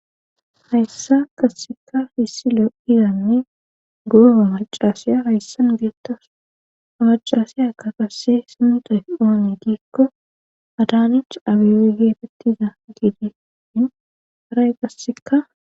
hayssa qasseka issi lo7izanne guoga macasiya hayssan biyettas amacassiya aka qasse hsimuta oone giikko adaanich abiwi geefettiza giidi in haray qasseka